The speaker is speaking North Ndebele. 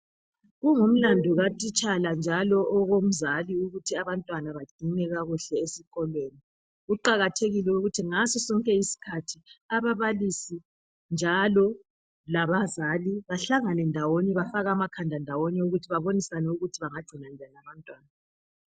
Kungumlandu katitshala njalo owenzali ukuthi abantwana bangcinwe esikolweni kuqakathekile ukuthi ngaso sonke isikhathi ababalisi labazali bahlangane ndawonye bafake amakhanda wabo ndawonye bebonisane ukuthi bengagcina njani abantwana.